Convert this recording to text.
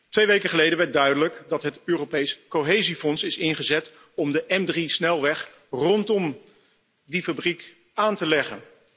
Twee weken geleden werd duidelijk dat het Europees Cohesiefonds is ingezet om de M3 snelweg rondom die fabriek aan te leggen.